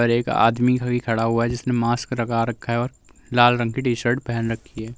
और एक आदमी हुई खड़ा हुआ है। जिसने मास्क लगा रखा है और लाल रंग की टी शर्ट पेहन रखी है।